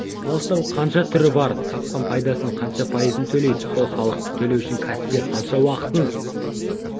салықтың қанша түрі бар тапқан пайдасының қанша пайызын төлейді сол салықты төлеу үшін кәсіпкер қанша уақытын